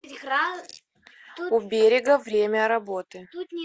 у берега время работы